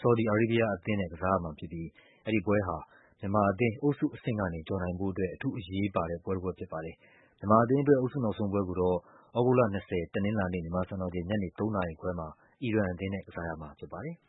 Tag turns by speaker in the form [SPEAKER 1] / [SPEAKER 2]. [SPEAKER 1] ဆော်ဒီ အာရေးဘီးယားအသင်းနဲ့ ကစားရမှာဖြစ်ပြီး အဲဒီပွဲဟာ မြန်မာအသင်း အုပ်စုအဆင့်ကနေ ကျော်နိုင်ဖို့အတွက် အထူးအရေးပါတဲ့ ပွဲတပွဲဖြစ်ပါတယ်။ မြန်မာအသင်းအတွက် အုပ်စုနောက်ဆုံးပွဲကိုတော့ သြဂုတ်လ ၂၀ တနင်္လာနေ့ မြန်မာစံတော်ချိန် ညနေ ၃ နာရီခွဲမှာ အီရန်အသင်းနဲ့ ကစားရမှာဖြစ်ပါတယ်။